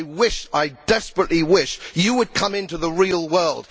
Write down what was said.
I wish, I desperately wish, you would come into the real world